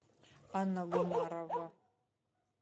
анна гумарова